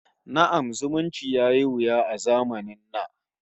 Na'am, zumunci yayi wuya a zamanin na